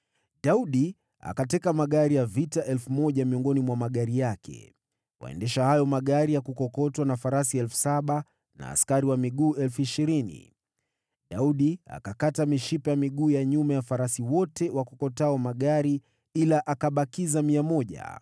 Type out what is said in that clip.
Daudi akateka magari ya vita 1,000 miongoni mwa magari yake, waendesha hayo magari ya kukokotwa na farasi 7,000 na askari wa miguu 20,000. Daudi akakata mishipa ya miguu ya nyuma ya farasi wote wakokotao magari, ila akabakiza 100.